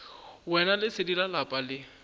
yena lesedi la lapa le